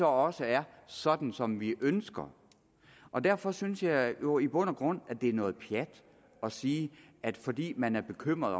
også er sådan som vi ønsker og derfor synes jeg jo i bund og grund at det er noget pjat at sige at fordi man er bekymret